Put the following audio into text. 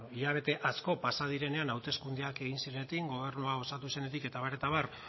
hilabete asko pasa direnean hauteskundeak egin zirenetik gobernua osatu zenetik eta abar eta abar